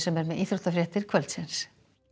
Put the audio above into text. er með íþróttafréttir kvöldsins